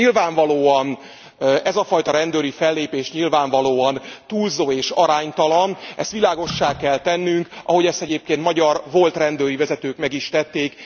Ez a fajta rendőri fellépés nyilvánvalóan túlzó és aránytalan, ezt világossá kell tennünk, ahogy ezt egyébként magyar, volt rendőri vezetők meg is tették.